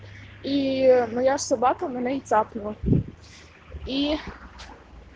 ии моя собака мене и цапнула ии